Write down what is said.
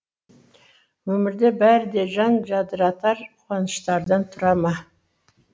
өмірде бәрі де жан жадыратар қуаныштардан тұра ма